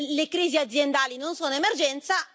le crisi aziendali non sono un'emergenza.